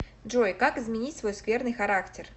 джой как изменить свой скверный характер